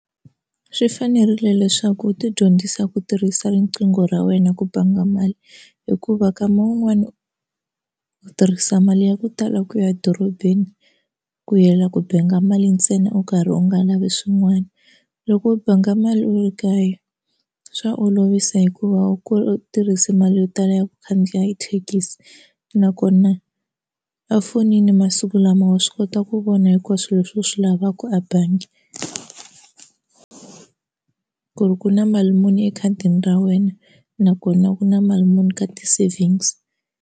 Swi fanerile leswaku u ti dyondzisa ku tirhisa riqingho ra wena ku banga mali hikuva kama wun'wani u tirhisa mali ya ku tala ku ya edorobeni ku yela ku banga mali ntsena u karhi u nga lavi swin'wana loko u banga mali u ri kaya swa u olovisa hikuva u ku u tirhise mali yo tala ya ku khandziya thekisi nakona a fonini masiku lama wa swi kota ku vona hikuva swilo leswi u swi lavaka a bangi ku ri ku na mali muni ekhadini ra wena nakona ku na mali muni ka ti savings.